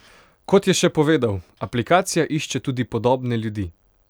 Kot je še povedal: ''Aplikacija išče tudi podobne ljudi.